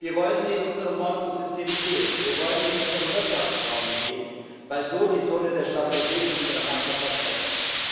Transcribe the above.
Wir wollen sie in unserem Ordnungssystem sehen, wir wollen sie in unserem Wirtschaftsraum sehen, weil so die Zone der Stabilität in unserer Nachbarschaft wächst.